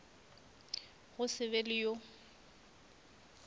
go se be le yo